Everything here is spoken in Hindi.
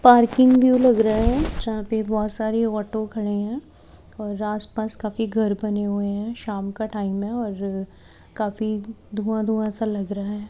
पार्किंग व्यू लग रहा है जहां पे बहुत सारे ऑटो खड़े हैं और आसपास काफी घर बने हुए हैं श्याम का टाइम है और काफी धुआं धुआं सा लग रहा है।